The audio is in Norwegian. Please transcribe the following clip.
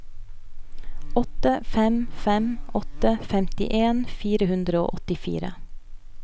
åtte fem fem åtte femtien fire hundre og åttifire